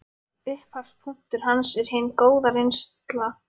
Upphafspunktur hans er hin góða reynsla af kynlífi.